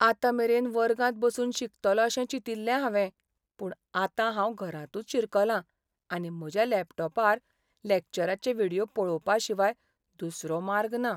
आतां मेरेन वर्गांत बसून शिकतलों अशें चिंतिल्लें हांवें, पूण आतां हांव घरांतूच शिरकलां आनी म्हज्या लॅपटॉपार लॅक्चराचें व्हिडियो पळोवपा शिवाय दुसरो मार्ग ना.